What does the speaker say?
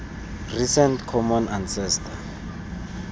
recent common ancestor